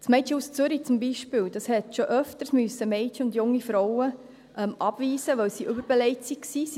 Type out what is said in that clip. Das Mädchenhaus Zürich zum Beispiel musste schon öfters Mädchen und junge Frauen abweisen, weil es überbelegt war.